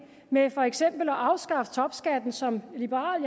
med for eksempel at afskaffe topskatten som liberal